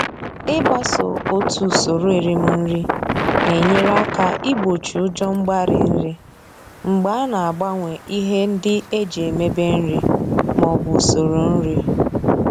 Ịgbaso otu usoro erim nri na-enyere aka igbochi ụjọ mgbarị nri mgbe a na-agbanwe ihe ndị e ji emebe nri maọbụ usoro nri.